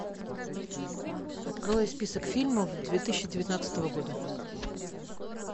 открой список фильмов две тысячи девятнадцатого года